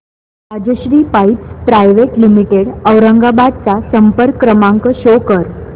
Rajshri pipes private limited Aurangabad चा संपर्क क्रमांक शो कर